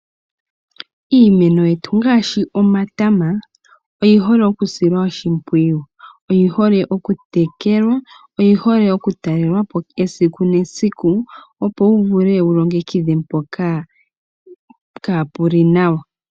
Iimeno yetu ngaashi omatama oyi hole okushilwa oshipwiyu. Oyi hole okutekelwa, okutalelwapo esiku nesiku, opo wu vule wulongekidha mpoka kapuli nawa.